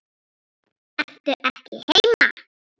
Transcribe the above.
Ertu ekki heima?